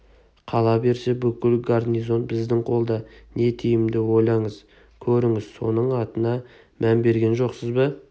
қала берсе бүкіл гарнизон біздің қолда не тиімді ойланып көріңіз соның атына мән берген жоқсыз ба